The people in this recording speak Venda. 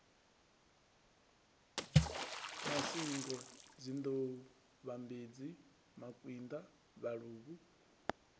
masingo dzinḓou vhambedzi makwinda vhaluvhu